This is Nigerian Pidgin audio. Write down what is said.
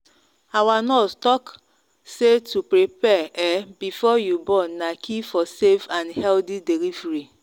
our nurse talk say to prepare um before you born na key for safe and healthy